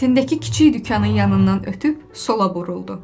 Tindəki kiçik dükanın yanından ötüb sola buruldu.